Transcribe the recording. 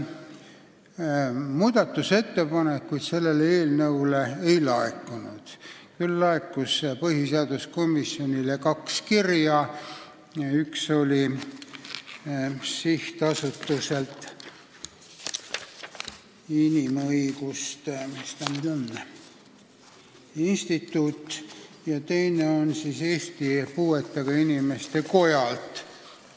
Muudatusettepanekuid selle eelnõu kohta ei laekunud, küll aga laekus põhiseaduskomisjonile kaks kirja: üks inimõiguste instituudi sihtasutuselt ja teine Eesti Puuetega Inimeste Kojalt.